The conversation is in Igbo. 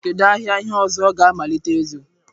Kedu ahịa ihe ọzọ ọ ga-amalite ịzụ?